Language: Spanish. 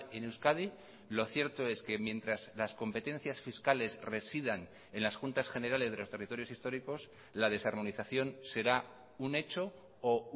en euskadi lo cierto es que mientras las competencias fiscales residan en las juntas generales de los territorios históricos la desarmonización será un hecho o